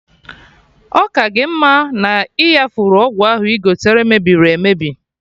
Ọ ka gị mma na-iyafuru ọgwụ ahụ igote mebiri emebi